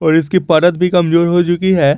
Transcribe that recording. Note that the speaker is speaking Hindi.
और इसकी परत भी कमजोर हो चुकी है।